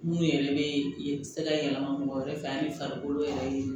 Mun yɛrɛ bɛ se ka yɛlɛma mɔgɔ yɛrɛ fɛ ani farikolo yɛrɛ ye